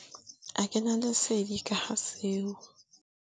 A kena lesedi ka ga seo.